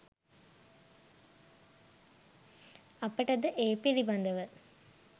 අපට ද ඒ පිළිබඳව